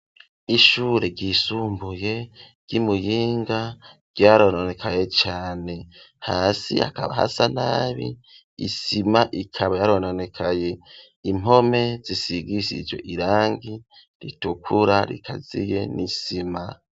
ishure ry,isumbuye ry'imuyinga ryarononekaye cane, hasi hakaba hasa nabi isima ikaba yarononekaye, impome zisigishijwe irangi ritukura rikaziye n'isima.